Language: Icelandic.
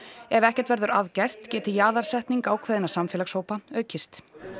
ef ekkert verður að gert geti jaðarsetning ákveðinna samfélagshópa aukist